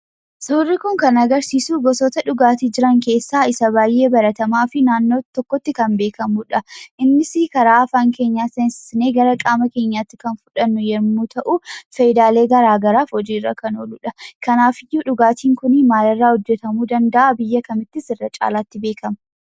Suurri kun kan agarsiisuu gosoota dhugaatii jiran keessaa isa baay'ee baratamaafi naannoo tokkotti kan beekamudha. Innisii karaa afaan keenyaa seensisnee gara qaama keenyaatti kan fudhannu yemmuu ta'uu faayidaalee garaa garaaf hojiirra kan ooludha. Kanaafiyyuu dhugaatiin kunii maalirraa hojjetamuu danda'a? biyya kamittis irra caalaatti beekama?